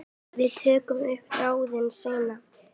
Við tökum upp þráðinn seinna.